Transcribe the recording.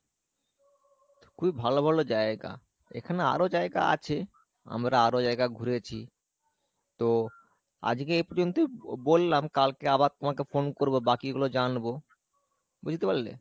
খুবই ভালো ভালো জায়গা এখানে আরো জায়গা আছে আমরা আরো জায়গা ঘুরেছি তো আজকে এই পর্যন্ত বললাম কালকে আবার তোমাকে phone করবো বাকি গুলো জানবো, বুঝতে পারলে?